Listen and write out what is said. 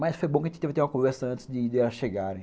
Mas foi bom que a gente teve uma conversa antes de elas chegarem.